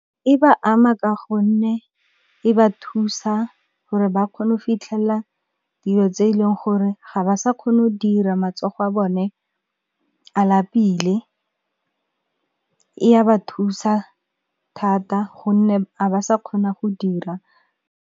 E ba ama ka gonne e ba thusa gore ba kgone go fitlhella dilo tse e leng gore ga ba sa kgona go dira matsogo a bone a lapile, e ya ba thusa thata gonne ga ba sa kgona go dira.